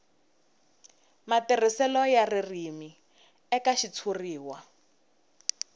matirhiselo ya ririmi eka xitshuriwa